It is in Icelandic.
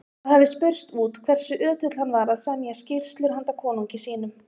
Það hafði spurst út hversu ötull hann var að semja skýrslur handa konungi sínum.